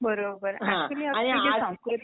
बरोबर